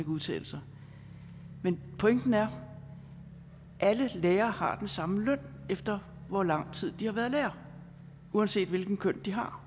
udtale sig men pointen er alle lærere har den samme løn efter hvor lang tid de har været lærere uanset hvilket køn de har